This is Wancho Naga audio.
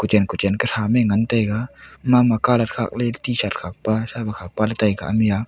kochen kochen ko am ngan taiga mama colour khat ley ley t shirt khat pa thao khat pa ley tai ga.